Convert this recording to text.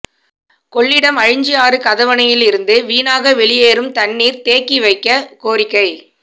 கொள்ளிடம் அழிஞ்சியாறு கதவணையிலிருந்து வீணாக வெளியேறும் தண்ணீர் தேக்கி வைக்க கோரிக்கை